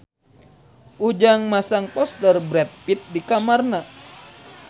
Ujang masang poster Brad Pitt di kamarna